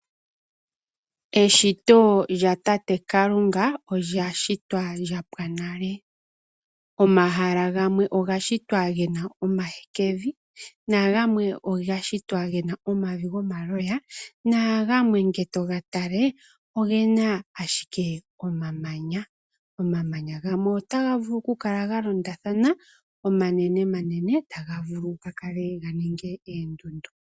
Eshito lyatate Kalunga olya shitwa lya pwa nale. Omahala gamwe oga shitwa ge na omahekevi nagamwe oga shitwa ge na omavi gomaloya nagamwe ngele to ga tala oge na ashike omamanya. Omamanya gamwe otaga vulu ga kale ga londathana omanenenene, taga vulu okuninga oondundu.